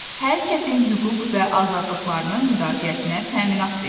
Hər kəsin hüquq və azadlıqlarının müdafiəsinə təminat verir.